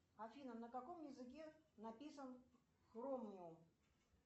афина на каком языке написан хромиум